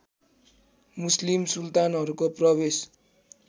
मुस्लिम सुल्तानहरूको प्रवेश